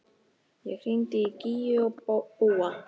Ég hringdi í Gígju og Búa.